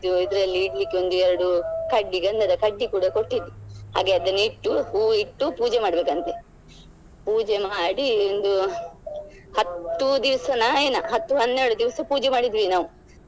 ಇದರಲ್ಲಿ ಇಡ್ಲಿಕ್ಕೆ ಒಂದು ಎರಡು ಕಡ್ಡಿ ಗಂಧದ ಕಡ್ಡಿ ಕೂಡ ಕೊಟ್ಟಿದ್ರು ಹಾಗೆ ಅದನ್ನು ಇಟ್ಟು ಹೂವು ಇಟ್ಟು ಪೂಜೆ ಮಾಡ್ಬೇಕಂತೆ ಪೂಜೆ ಮಾಡಿ ಒಂದು ಹತ್ತು ದಿವ್ಸ ನ ಏನಾ ಹತ್ತು ಹನ್ನೆರಡು ದಿವ್ಸ ಪೂಜೆ ಮಾಡಿದ್ವಿ ನಾವು.